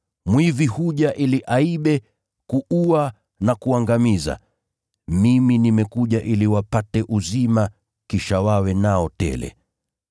Mwizi huja ili aibe, kuua na kuangamiza. Mimi nimekuja ili wapate uzima kisha wawe nao tele.